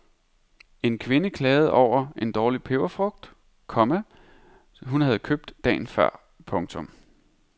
En kvinde klagede over en dårlig peberfrugt, komma hun havde købt dagen før. punktum